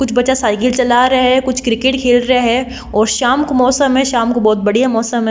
कुछ बच्चा साइकिल चला रहे है कुछ क्रिकेट खेल रहे है और शाम को मौसम है शाम को बोहोत बढ़िया मौसम है।